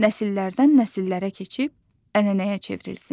Nəsillərdən nəsillərə keçib ənənəyə çevrilsin.